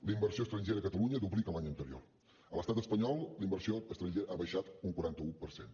la inversió estrangera a catalunya duplica l’any anterior a l’estat espanyol la inversió estrangera ha baixat un quaranta un per cent